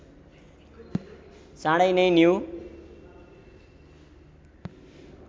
चाँडै नै न्यु